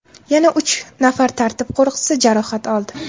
Yana uch nafar tartib qo‘riqchisi jarohat oldi.